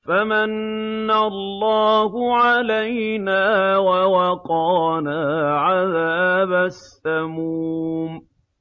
فَمَنَّ اللَّهُ عَلَيْنَا وَوَقَانَا عَذَابَ السَّمُومِ